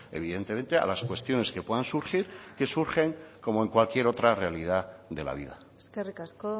evidentemente a las cuestiones que puedan surgir que surgen como en cualquier otra realidad de la vida eskerrik asko